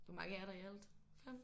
Hvor mange er der i alt? 5?